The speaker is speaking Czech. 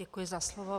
Děkuji za slovo.